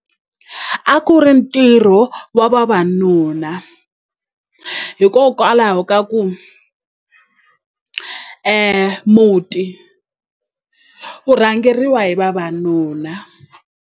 A ku ri ntirho wa vavanuna hikokwalaho ka ku muti ku rhangeriwa hi vavanuna.